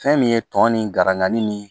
Fɛn min ye tɔn ni garangani ni